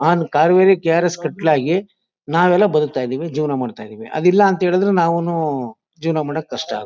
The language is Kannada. ನಾನ್ ಕಾವೇರಿ ಕೆ ಆರ್ ಎಸ್ ಕಟ್ಲಾಗಿ ನಾವೆಲ್ಲ ಬದುಕ್ತಾ ಇದೀವಿ ಜೀವನ ಮಾಡ್ತಾ ಇದೀವಿ ಅದಿಲ್ಲ ಅಂತ ಹೇಳುದ್ರೆ ನಾವುನು ಜೀವನ ಮಾಡಕ್ ಕಷ್ಟ